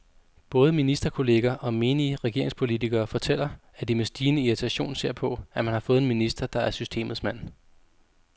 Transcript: Både ministerkolleger og menige regeringspolitikere fortæller, at de med stigende irritation ser på, at man har fået en minister, der er systemets mand.